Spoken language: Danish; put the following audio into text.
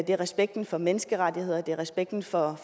er respekten for menneskerettigheder det er respekten for